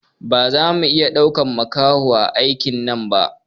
Baza mu iya ɗaukan makaho a aikin nan ba